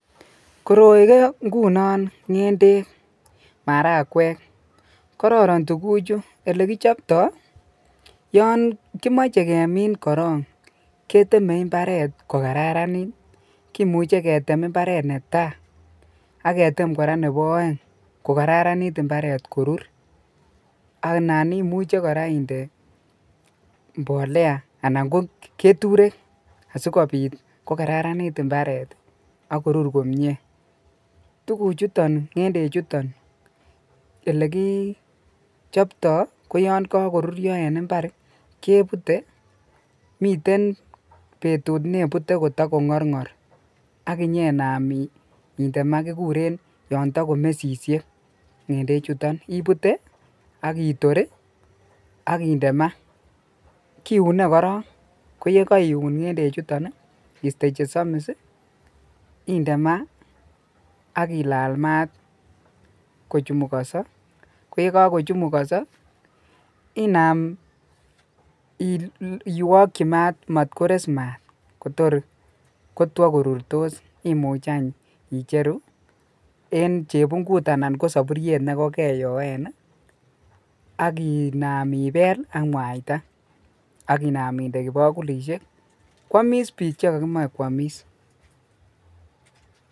Koroi ko ngunon ngendek marakwek kororon tuguchu, elekichopto yon kimoche kemin korong keteme imbaret kokararanit kimuche ketem imbaret netaa ak ketem koraa nebo oeng kokararanit imbaret korur anan imuche inde koraa mbolea anan koketurek asikobit kokararanit imbaret ii ak korur komie, tuguchuton ngendechuton elekichopto koyon kokorurio en imbar kebute miten betut nebute kotokongorngor ak inyenam inde maa kikuren yon tokomesishek ibute ak itor ii ak inde maa kiune koraa koye koiun ngendechuton ii iste chesomis ii inde maa ak ilal maat kochumukoso koye kokochumukoso inam ilolji maat mot kores maat kotor kotwo korurtos imuch any icheru en chebungut anan kosoburiet nekokeyoen ii ak inaam ibel ak mwaita ak inaam inde kibokulishek ak kwomis bik chekokimoe kwoomis.